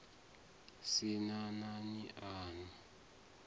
sin a nani a u